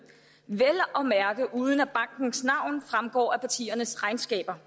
vel at mærke uden at bankens navn fremgår af partiernes regnskaber